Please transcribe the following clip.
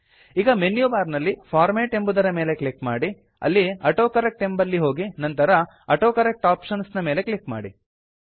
ಈಗ ಮೆನ್ಯುಬಾರ್ ನಲ್ಲಿ ಫಾರ್ಮ್ಯಾಟ್ ಎಂಬುದರ ಮೇಲೆ ಕ್ಲಿಕ್ ಮಾಡಿ ಅಲ್ಲಿ ಆಟೋಕರೆಕ್ಟ್ ಎಂಬಲ್ಲಿ ಹೋಗಿ ನಂತರ ಆಟೋಕರೆಕ್ಟ್ ಆಪ್ಷನ್ಸ್ ನ ಮೇಲೆ ಕ್ಲಿಕ್ ಮಾಡಿ